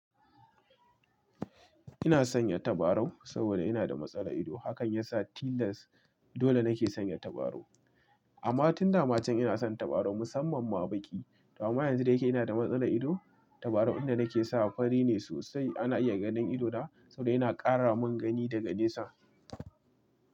Ina sanya tabarau saboda ina da matsalar ido. Hakan yasa tilas dole nake sanya tabarau amma tun damacen ina son tabarau musamman ma baƙi. Amma yanzu da yake ina da matsalar ido, tabarau inda nake sawa fari ne sosai ana iya ganin idona saboda yana ƙara min gani da ga nesa.